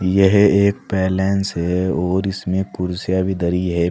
यह एक पैलेस है और इसमें कुर्सियां भी धारी है।